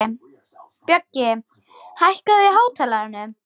Bjöggi, hækkaðu í hátalaranum.